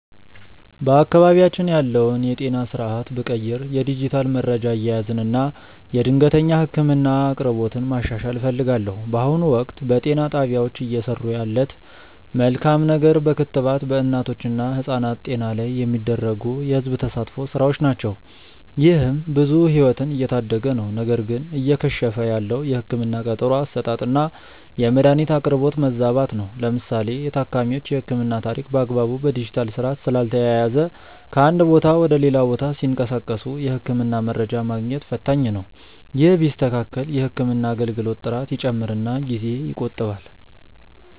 በአካባቢያችን ያለውን የጤና ስርዓት ብቀይር የዲጂታል መረጃ አያያዝን እና የድንገተኛ ህክምና አቅርቦትን ማሻሻል እፈልጋለሁ። በአሁኑ ወቅት፣ በጤና ጣቢያዎች እየሰሩ ያለት መልካም ነገር በክትባት በእናቶች እና ህጻናት ጤና ላይ የሚደረጉ የህዝብ ተሳትፎ ስራዎች ናቸው። ይህም ብዙ ህይወትን እየታደገ ነው። ነገር ግን እየከሸፈ ያለው የህክምና ቀጠሮ አሰጣጥና የመድኃኒት አቅርቦት መዛባት ነው። ለምሳሌ የታካሚዎች የህክምና ታሪክ በአግባቡ በዲጂታል ስርዓት ስላልተያያዘ ከአንድ ቦታ ወደ ሌላ ቦታ ሲንቀሳቀሱ የህክምና መረጃ ማግኘት ፈታኝ ነው። ይህ ቢስተካከል የህክምና አገልግሎት ጥራት ይጨምርና ጊዜ ይቆጥባል።